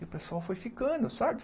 E o pessoal foi ficando, sabe?